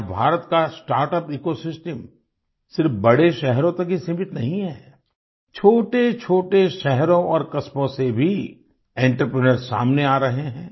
आज भारत का startup ecosystem सिर्फ बड़े शहरों तक ही सीमित नहीं है छोटेछोटे शहरों और कस्बों से भी एंटरप्रेन्योर्स सामने आ रहे हैं